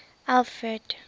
alfred